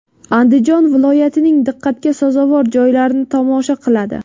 Andijon viloyatining diqqatga sazovor joylarini tomosha qiladi.